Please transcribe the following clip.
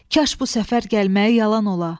Kaş bu səfər gəlməyi yalan ola.